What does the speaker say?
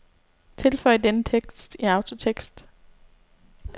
Tilføj denne tekst i autotekst.